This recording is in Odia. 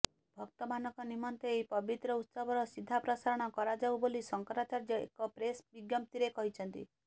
ଭକ୍ତମାନଙ୍କ ନିମନ୍ତେ ଏହି ପବିତ୍ର ଉତ୍ସବର ସିଧାପ୍ରସାରଣ କରାଯାଉ ବୋଲି ଶଙ୍କରାଚାର୍ଯ୍ୟ ଏକ ପ୍ରେସ୍ ବିଜ୍ଞପ୍ତିରେ କହିଛନ୍ତି